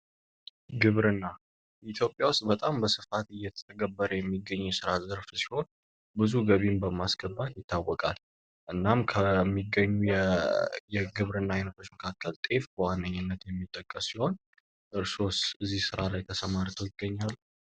ግብር ኢትዮጵያ ውስጥ በጣም በስፋት እየተተገበረ የሚገኙ ሥራ ዘርፍ ሲሆን ብዙ ገቢን በማስገባት ይታወቃል። እናም ከሚገኙ የግብርና አይነቶችን ካከል ጤፍ በዋነኝነት የሚጠቀስ ሲሆን እርስስ ዚህ ሥራ ላይ ተሰማርተው ይገኘሉ።